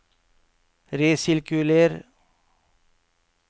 resirkuler